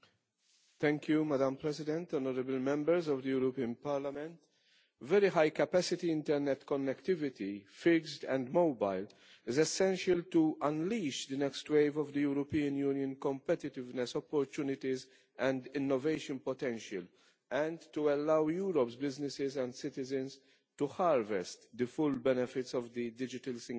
Madam President, honourable Members, very high capacity Internet connectivity, fixed and mobile, is essential to unleash the next wave of the European Union competitiveness opportunities and innovation potential and to allow Europe's businesses and citizens to harvest the full benefits of the Digital Single Market.